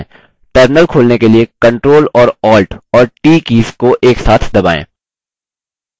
terminal खोलने के लिए ctrl और alt और t बटनों को एक साथ दबाएँ